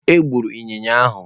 Egburu ịnyịnya ahụ.